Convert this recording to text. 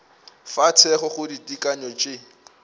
fa thekgo go ditekanyo tše